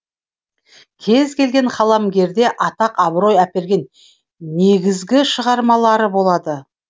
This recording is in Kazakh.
кез келген қаламгерде атақ абырой әперген негізгі шығармалары болады